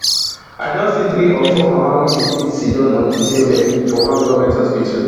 i don see three or four mama wey dey bleed siddon on di same bed for one goment hospital